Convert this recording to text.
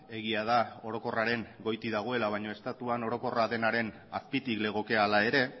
egia da orokorraren goitik dagoela baina estatuan orokorra denaren azpitik legoke hala ere